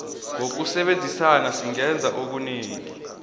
ngokusebenzisana singenza okunengi